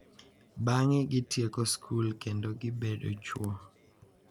bang’e gitieko skul kendo gibedo chwo.